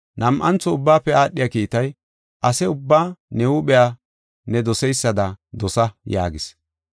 Nam7antho ubbaafe aadhiya kiitay, ase ubbaa ne huuphiya ne doseysada dosa’ yaageysa.